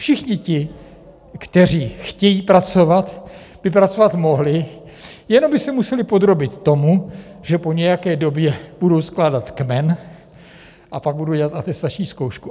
Všichni ti, kteří chtějí pracovat, by pracovat mohli, jenom by se museli podrobit tomu, že po nějaké době budou skládat kmen a pak budou dělat atestační zkoušku.